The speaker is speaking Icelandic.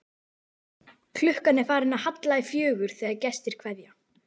Klukkan er farin að halla í fjögur þegar gestir kveðja.